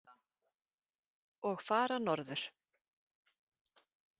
Og fara norður.